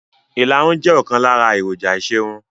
ìlarun jẹ́ ọ̀kan lára èròjà ìṣerun.